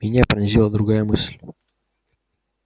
меня пронзила другая мысль